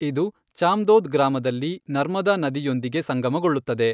ಇದು ಚಾಂದೋದ್ ಗ್ರಾಮದಲ್ಲಿ ನರ್ಮದಾ ನದಿಯೊಂದಿಗೆ ಸಂಗಮಗೊಳ್ಳುತ್ತದೆ.